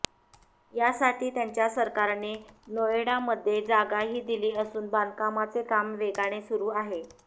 यासाठी त्यांच्या सरकारने नोएडामध्ये जागाही दिली असून बांधकामांचे काम वेगाने सुरू आहे